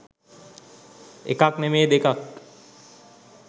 එකක් නෙමේ දෙකක්